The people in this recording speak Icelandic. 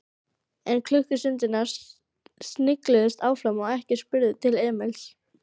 En klukkustundirnar snigluðust áfram og ekkert spurðist til Emils.